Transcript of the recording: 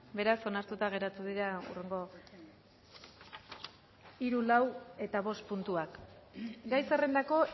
beraz onartuta geratu dira hurrengo hiru lau eta bost puntuak gai zerrendako